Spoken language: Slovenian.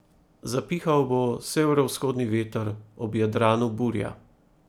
Zapihal bo severovzhodni veter, ob Jadranu burja.